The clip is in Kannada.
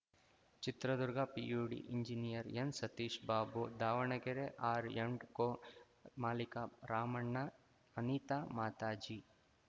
Chitradurga PUD engineer N Satish Babu Davanagere R and co ಮಾಲೀಕ ರಾಮಣ್ಣ ಅನಿತಾ ಮಾತಾಜಿ